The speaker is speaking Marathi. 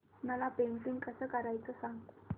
मला पेंटिंग कसं करायचं सांग